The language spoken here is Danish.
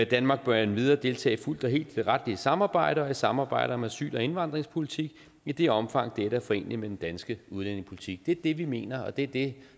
danmark bør endvidere deltage fuldt og helt i det retlige samarbejde og i samarbejdet om asyl og indvandringspolitik i det omfang dette er foreneligt med den danske udlændingepolitik det er det vi mener og det er det